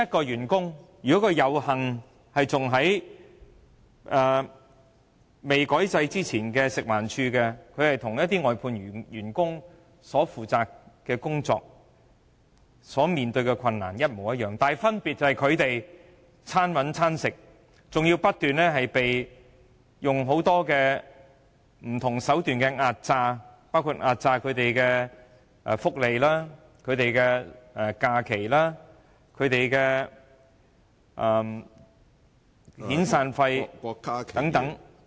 有幸在未改制之前進入食環署工作的員工，其工作性質和面對的困難與外判員工相同，分別在於外判員工"餐搵餐食"，更要不斷被很多不同的手段壓榨福利、假期、遣散費等......